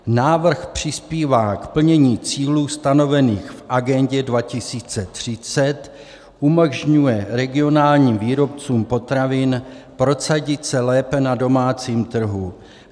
Návrh přispívá k plnění cílů stanovených v Agendě 2030, umožňuje regionálním výrobcům potravin prosadit se lépe na domácím trhu.